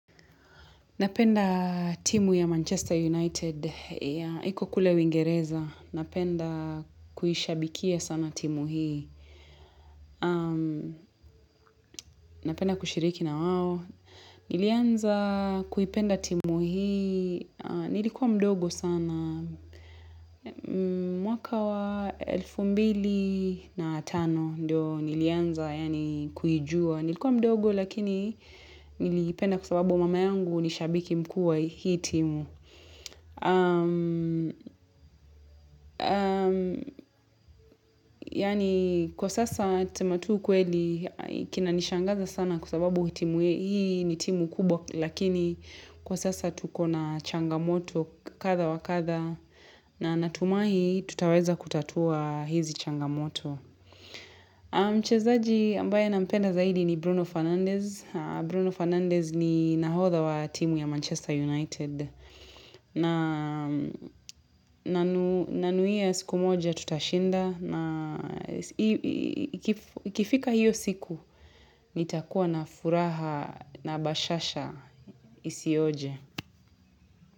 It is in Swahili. Napenda timu ya Manchester United, iko kule uingereza, napenda kuhishabikia sana timu hii, napenda kushiriki nawao, nilianza kuipenda timu hii, nilikuwa mdogo sana, mwaka wa elfu mbili na tano, nilianza yani kuijua, nilikuwa mdogo lakini niliipenda kwa sababu mama yangu ni shabiki mkuu wa hii timu. Yani kwa sasa tuseme tu ukweli kinanishangaza sana kwa sababu timu hii ni timu kubwa Lakini kwa sasa tuko na changamoto kadha wa kadha na natumahi tutaweza kutatua hizi changamoto Mchezaji ambaye nampenda zaidi ni Bruno Fernandez, Bruno Fernandez ni nahodha wa timu ya Manchester United Nanuia siku moja tutashinda na ikifika hiyo siku nitakuwa na furaha na bashasha isioje.